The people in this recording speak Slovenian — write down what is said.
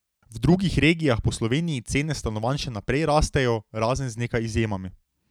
V drugih regijah po Sloveniji cene stanovanj še naprej rastejo, razen z nekaj izjemami.